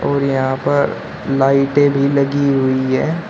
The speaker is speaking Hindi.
और यहां पर लाइटे भी लगी हुई है।